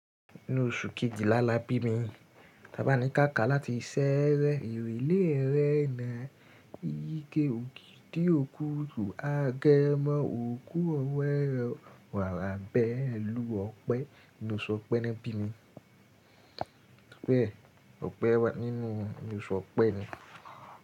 Nínú oṣù kejìlá la bí mi. Taba ni káka láti ṣẹrẹ́. Ìrẹ́lẹ́ rẹ̀ ń yí ike òkè tí òkú tò agẹ Oju ọwọ́ rẹ̀ wa wa lábẹ́ ìlú ọ̀pẹ nínú oṣù ọ̀pẹ ni won bi mi. Ọ̀pẹ nínú oṣù ọ̀pẹ ni.